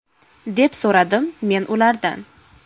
deb so‘radim men ulardan.